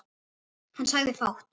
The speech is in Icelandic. Hann sagði fátt.